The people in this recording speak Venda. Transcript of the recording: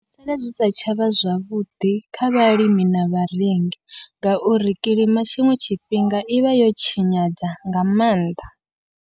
Zwivha zwisi tshavha zwavhuḓi kha vhalimi na vharengi, ngauri kilima tshiṅwe tshifhinga ivha yo tshinyadza nga maanḓa.